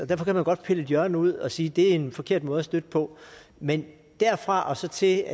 derfor kan man godt pille et hjørne ud og sige at det er en forkert måde at støtte på men derfra og så til